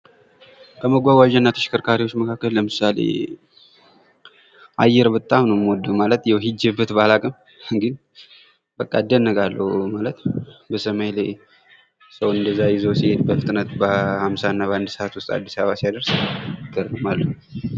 ከመጓጓዣና ተሽከርካሪዎች መካከል ለምሳሌ አየር በጣም ነው የምወደው ማለት ያው ሂጂበት ባላውቅም ግን እደነቃለሁ:: በሰማይ ላይ ሰው እንደዚያ ይዞ ሲሄድ በፍጥነት በአምሳና በአንድ እሳት ውስጥ አዲስ አበባ ሲያደርስ ይገርማል ::